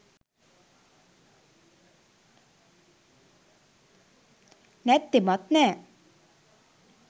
නැත්තෙමත් නෑ